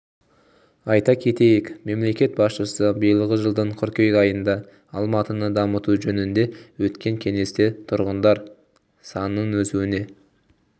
айта кетейік мемлекет басшысы биылғы жылдың қыркүйек айында алматыны дамыту жөнінде өткен кеңесте тұрғындар санының өсуіне